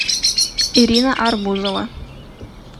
ирина арбузова